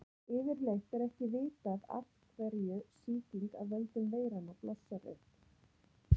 yfirleitt er ekki vitað af hverju sýking af völdum veiranna blossar upp